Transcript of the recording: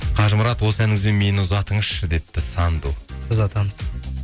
қажымұрат осы әніңізбен мені ұзатыңызшы депті санду ұзатамыз